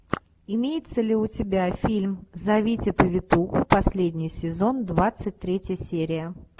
имеется ли у тебя фильм зовите повитуху последний сезон двадцать третья серия